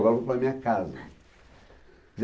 para a minha casa.